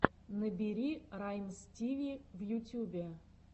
набери раймстиви в ютюбе